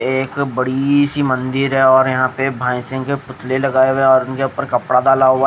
एक बड़ी सी मंदिर है और यहाँ पर भेंसे के पुतले लगाए हुए है और उनके ऊपर कपड़ा डाला हुआ--